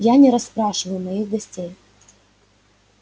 я не расспрашиваю моих гостей